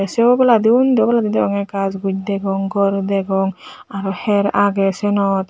sei obladi undi oblandi degongey gaaj guj degong gor degong aro hyer agey siyenot.